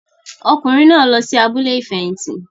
Ọkùnrin náà nlọ sí abúlé ifẹhinti